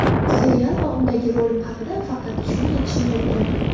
Serial va undagi rolim haqida faqat shuni aytishim mumkin.